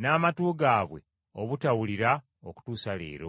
n’amatu gaabwe obutawulira okutuusa leero.”